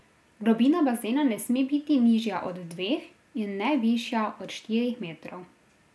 Globina bazena ne sme biti nižja od dveh, in ne višja od štirih metrov.